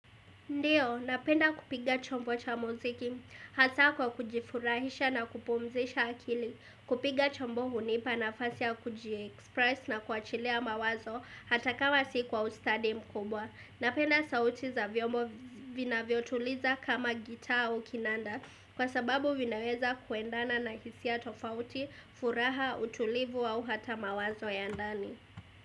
Ndiyo, napenda kupiga chombo cha muziki, hasaa kwa kujifurahisha na kupumzisha akili, kupiga chombo hunipa nafasi ya kujiexpress na kuachilia mawazo hata kama si kwa ustadi mkubwa. Napenda sauti za vyombo vinavyotuliza kama gitaa au kinanda kwa sababu vinaweza kuendana na hisia tofauti, furaha, utulivu au hata mawazo ya ndani.